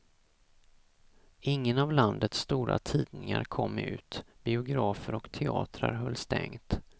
Ingen av landets stora tidningar kom ut, biografer och teatrar höll stängt.